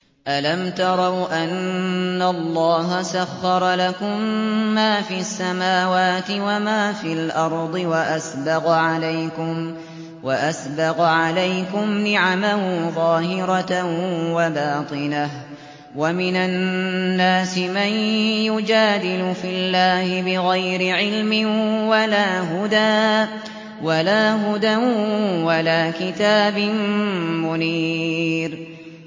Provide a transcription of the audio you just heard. أَلَمْ تَرَوْا أَنَّ اللَّهَ سَخَّرَ لَكُم مَّا فِي السَّمَاوَاتِ وَمَا فِي الْأَرْضِ وَأَسْبَغَ عَلَيْكُمْ نِعَمَهُ ظَاهِرَةً وَبَاطِنَةً ۗ وَمِنَ النَّاسِ مَن يُجَادِلُ فِي اللَّهِ بِغَيْرِ عِلْمٍ وَلَا هُدًى وَلَا كِتَابٍ مُّنِيرٍ